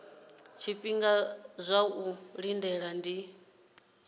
zwifhinga zwa u lindela ndi